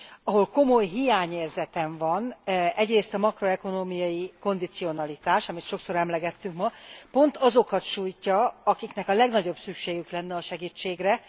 Ahol komoly hiányérzetem van, az egyrészt a makroökonómiai kondicionalitás, amelyet sokszor emlegettünk ma, és amely pont azokat sújtja, akiknek a legnagyobb szükségük lenne a segítségre.